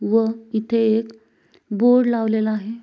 व इथे एक बोर्ड लावलेला आहे.